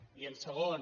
i en segon